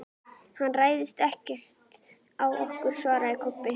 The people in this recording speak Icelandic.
Hann ræðst ekkert á okkur, svaraði Kobbi.